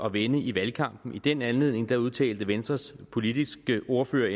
at vende i valgkampen i den anledning udtalte venstres politiske ordfører